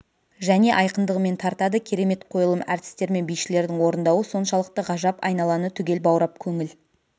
және айқындығымен тартады керемет қойылым әртістер мен бишілердің орындауы соншалықты ғажап айналаны түгел баурап көңіл